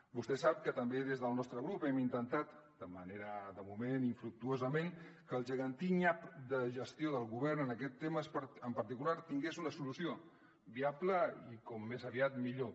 vostè sap que també des del nostre grup hem intentat de moment infructuosament que el gegantí nyap de gestió del govern en aquest tema en particular tingués una solució viable i com més aviat millor